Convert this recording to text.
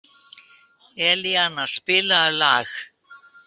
Elíana, spilaðu lag.